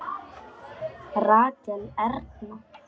Rakel Erna.